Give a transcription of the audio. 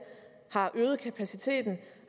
har øget kapaciteten